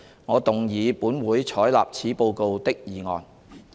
我動議"本會採納此報告"的議案。